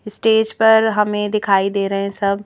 stage पर हमें दिखाई दे रहे हैं सब--